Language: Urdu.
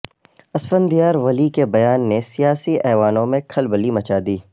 اسفندیار ولی کے بیان نے سیاسی ایوانوں میں کھلبلی مچادی